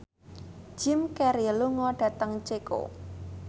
Jim Carey lunga dhateng Ceko